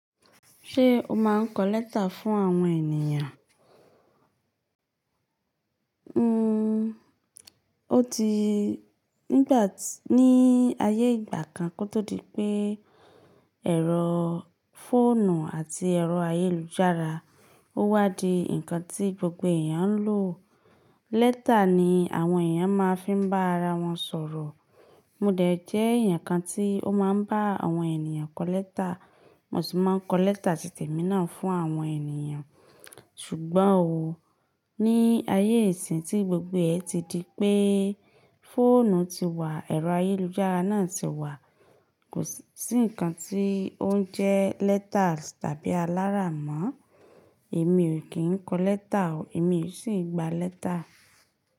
Ṣé o máa ń kọ lẹ́tà fún àwọn ènìyàn? N ó ti nígbà tí ní ayé ìgbà kan kó tó di pé ẹ̀rọ fóònù àti ẹ̀rọ ayélujára ó wá di ǹkan tí gbogbo èèyàn ń lò. Lẹ́tà ni àwọn èèyàn máa ń fi bá ara wọn sọ̀rọ̀. Mo dẹ̀ jẹ́ èèyàn kan tí ó máa ń bá àwọn ènìyàn kọ lẹ́tà, mo sì máa ń kọ lẹ́tà ti temi náà fún àwọn ènìyàn. Ṣùgbọ́n ò ó, ní ayé ìsín tí gbogbo ẹ ti di pé fóònù ti wà, ẹ̀rọ ayélujára náà ti wà, kò sí ǹkan tí ó ń jẹ́ lẹ́tà tàbí alára mọ́. Èmi ò kí ń kọ lẹ́tà o. Èmi ò sì ń gba lẹ́tà.